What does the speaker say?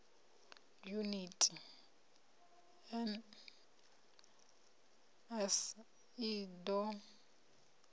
yuniti nls i d o